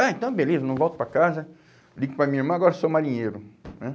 Ah, então beleza, não volto para casa, ligo para a minha irmã, agora sou marinheiro, né.